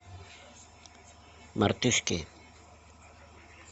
мартышки